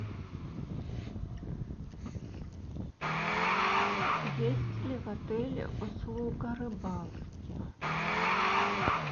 есть ли в отеле услуга рыбалки